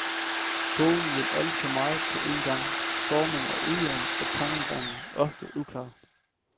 Bogen vil alt for meget på en gang, formen er ujævn, og tankegangen ofte uklar.